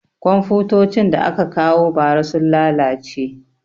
Komfutocin da aka kawo ba ra sun lalace